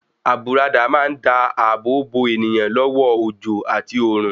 Àbùradà má ń dá ààbò bo èèyàn lọ́wọ́ òjò àti òòrùn.